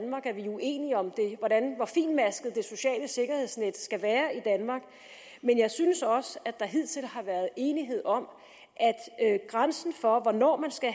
uenige om hvor fintmasket det sociale sikkerhedsnet skal være i danmark men jeg synes også at der hidtil har været enighed om at grænsen for hvornår man skal